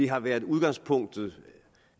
har været udgangspunktet